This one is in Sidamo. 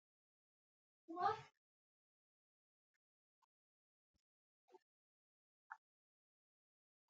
techo qaali suude xaadisanna babbade qaalla suwise nabbawa afidh ino konne qaali suudunni ronseemmo techo techo qaali suude xaadisanna babbade.